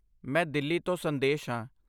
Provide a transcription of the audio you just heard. ਮੈਂ ਦਿੱਲੀ ਤੋਂ ਸੰਦੇਸ਼ ਹਾਂ।